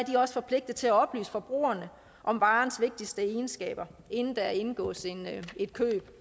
også forpligtet til at oplyse forbrugerne om varens vigtigste egenskaber inden der indgås et køb